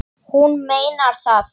Hún meinar það.